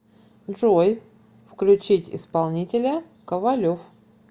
джой включить исполнителя ковалев